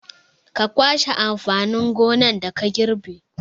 Ka kwashe amfanin gonar da ka girbe!